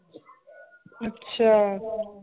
ਅੱਛਾ l